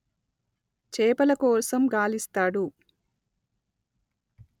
చేపల కోసం గాలిస్తాడు